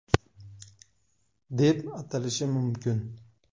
deb atalishi mumkin.